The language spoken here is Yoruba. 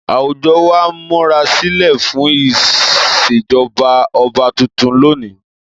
Àwùjọ wa ń múra sílẹ̀ fún ìṣèjọba ọba tuntun lónìí.